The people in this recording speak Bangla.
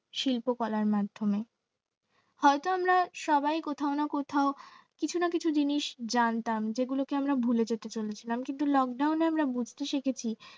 শিল্পকলার মাধ্যমে হয়তো আমরা সবাই কোথাও না কোথাও কিছু না কিছু জিনিস জানতাম যেগুলোকে আমরা ভুলে যেতে চেয়েছিলাম কিন্তু lockdown এ আমরা বুঝতে শিখেছি